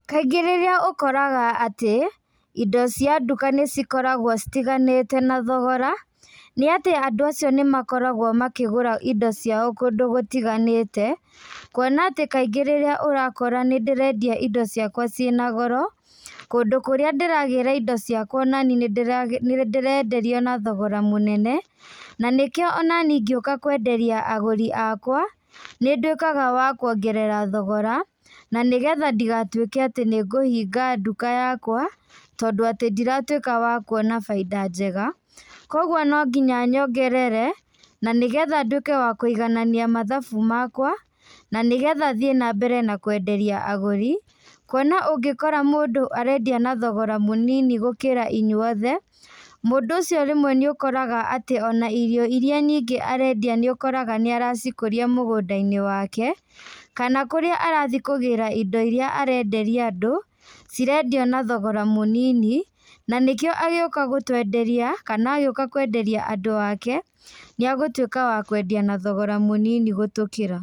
Kaingĩ rĩrĩa ũkoraga atĩ, indo cia nduka nĩcikoragwo citiganĩte na thogora, nĩatĩ andũ cio nĩmakoragwo makĩgũra indo ciao kũndũ gũtiganĩte, kuona atĩ kaingĩ rĩrĩa ũrakora nĩndĩrendia indo ciakwa ciĩna goro, kũndũ kũrĩa ndĩragĩrĩ indo ciakwa ona nĩ nĩndĩrenderio na thogora mũnene, na nĩkio ona niĩ ngĩũka kwenderia agũri akwa, nĩnduĩkaga wa kuongerera thogora, na nĩgetha ndigatuĩke atĩ nĩngũhinga nduka yakwa, tondũ atĩ ndiratuĩka wa kuona bainda njega, koguo nonginya nyongerere, na nĩgetha nduĩke wa kũiganania mathabu makwa, na nĩgetha thiĩ nambere na kwenderia agũri, kuona ũngĩkora mũndũ arendia na thogora mũnini gũkĩra inyuothe, mũndũ ũcio rĩmwe nĩũkoraga ona irio iria nyingĩ arendia nĩokoraga nĩaracikũria mũgũndainĩ wake, kana kũrĩa arathiĩ kũgĩra indo iria arenderia andũ, cirendio na thogora mũnini, na nĩkĩo agĩũka gũtwenderia, kana agĩũka kwenderia andũ ake, nĩagũtuĩka wa kwendia na thogora mũnini gũtũkĩra.